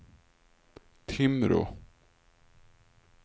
Timrå